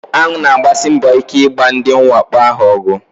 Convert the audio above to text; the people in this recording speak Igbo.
Aṅụ na-agbasi mbọ ike ịgba ndị mwakpo ahụ ọgụ.